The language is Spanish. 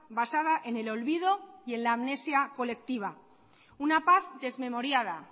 basada en el olvido y en la amnesia colectiva una paz desmemoriada